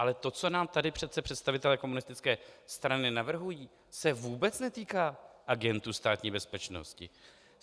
Ale to, co nám tady přece představitelé komunistické strany navrhují, se vůbec netýká agentů Státní bezpečnosti.